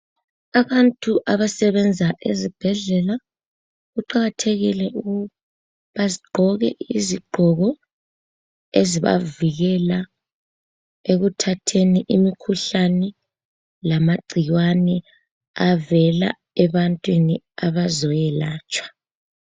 Abantu abasebenza ezibhedlela kuqakathekile ukuthi bagqoke izigqoko ezibavikela ekuthatheni imikhuhlane lamagcikwane avela ebantwini abazoyelatshwa.